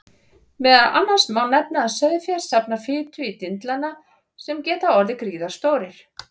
Meðal annars má nefna að sauðfé safnar fitu í dindlana sem geta orðið gríðarstórir.